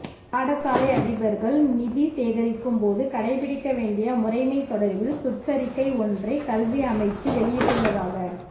பாடசாலை அதிபர்கள் நிதி சேகரிக்கும் போது கடைப்பிடிக்க வேண்டிய முறைமை தொடர்பில் சுற்றறிக்கை ஒன்றை கல்வி அமைச்சு வெளியிட்டுள்ளதாக